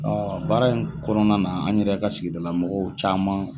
baara in kɔnɔna na an yɛrɛ ka sigidala mɔgɔw caman